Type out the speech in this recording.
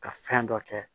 Ka fɛn dɔ kɛ